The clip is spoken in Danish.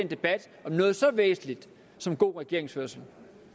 debat om noget så væsentligt som god regeringsførelse